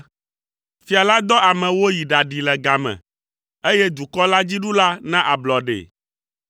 Fia la dɔ ame woyi ɖaɖee le game, eye dukɔ la dziɖula na ablɔɖee.